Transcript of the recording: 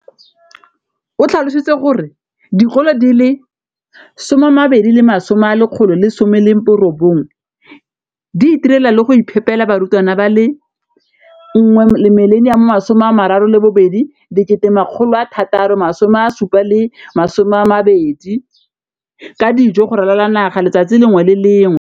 o tlhalositse gore dikolo di le 20 619 di itirela le go iphepela barutwana ba le 9 032 622 ka dijo go ralala naga letsatsi le lengwe le le lengwe.